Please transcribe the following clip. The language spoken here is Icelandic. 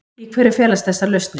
Í hverju felast þessar lausnir?